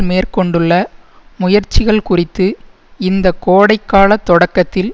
மேற்கொண்டுள்ள முயற்சிகள் குறித்து இந்த கோடைகாலத் தொடக்கத்தில்